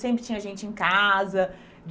Sempre tinha gente em casa.